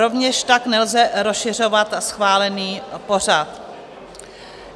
Rovněž tak nelze rozšiřovat schválený pořad.